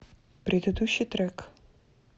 предыдущий трек